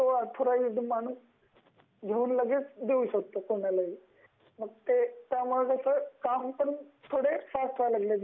येऊन तो ऑथराइज्ड माणूस लगेच देऊ शकतो कोणाला बी त्यामुळे काम पण थोड़े फ़ास्ट व्हायला लागल.